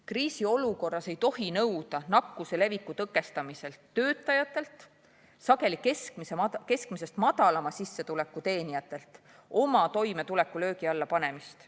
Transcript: Kriisiolukorras ei tohi nakkuse leviku tõkestamisel nõuda töötajatelt, sageli keskmisest madalama sissetuleku teenijatelt oma toimetuleku löögi alla panemist.